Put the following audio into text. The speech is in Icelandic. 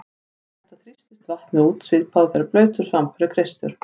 Við þetta þrýstist vatnið út svipað og þegar blautur svampur er kreistur.